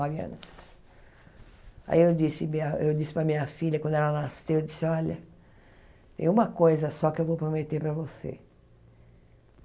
anos Aí eu disse minha eu disse para minha filha, quando ela nasceu, eu disse, olha, tem uma coisa só que eu vou prometer para você.